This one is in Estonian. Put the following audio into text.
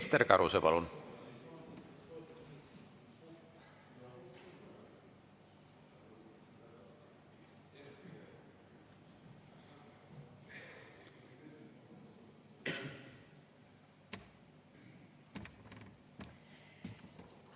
Ester Karuse, palun!